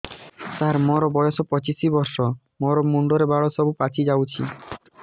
ସାର ମୋର ବୟସ ପଚିଶି ବର୍ଷ ମୋ ମୁଣ୍ଡରେ ବାଳ ସବୁ ପାଚି ଯାଉଛି